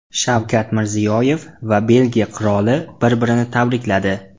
Shavkat Mirziyoyev va Belgiya qiroli bir-birini tabrikladi.